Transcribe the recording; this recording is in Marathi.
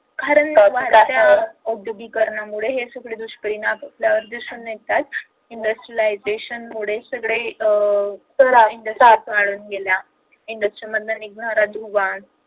औद्योगिकरणामुळे हे सगळे दुष्परिणाम आपल्याला दिसून येतात industrialization मुळे सगळे अह वाढत गेला industry मधून निघणारा दुवा